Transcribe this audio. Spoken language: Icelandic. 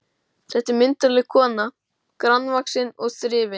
Þetta er myndarleg kona, grannvaxin og þrifin.